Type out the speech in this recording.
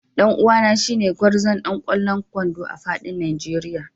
Dan uwana shine gwarzon ɗan kwallon kwando a fadin Nigeria